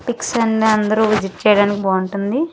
Pick Sunday అందరూ visit చేయడానికి బాగుంటుంది.